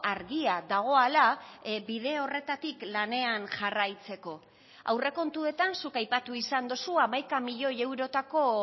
argia dagoala bide horretatik lanean jarraitzeko aurrekontuetan zuk aipatu izan dozu hamaika milioi eurotako